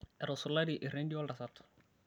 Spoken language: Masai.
etusulari erendio oltasat